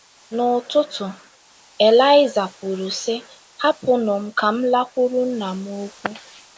N’ụtụtụ, Elịiza kwuru, sị: “ Hapụnụ m ka m lakwuru nna m ukwu. ”